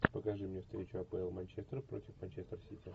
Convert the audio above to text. покажи мне встречу апл манчестер против манчестер сити